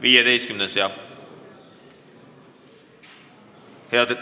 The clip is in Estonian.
15. muudatusettepanek, jah.